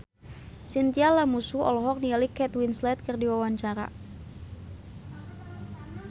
Chintya Lamusu olohok ningali Kate Winslet keur diwawancara